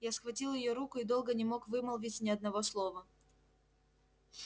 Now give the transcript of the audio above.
я схватил её руку и долго не мог вымолвить ни одного слова